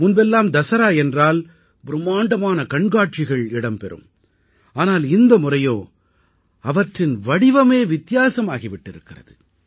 முன்பெல்லாம் தஸரா என்றால் பிரும்மாண்டமான கண்காட்சிகள் இடம்பெறும் ஆனால் இந்த முறையோ அவற்றின் வடிவமே வித்தியாசமாகி விட்டிருக்கிறது